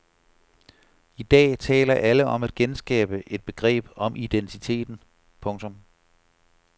I dag taler alle om at genskabe et begreb om identiteten. punktum